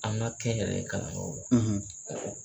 An ka kɛnyɛrɛ ye kalanyɔrɔw la.